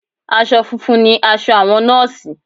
Aṣọ funfun ni aṣọ àwọn nọ́ọ̀sì